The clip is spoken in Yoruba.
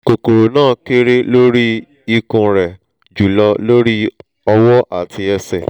kokoro na kere lori ikun re julo lori owo ati ese